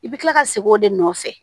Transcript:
I bɛ kila ka segin o de nɔfɛ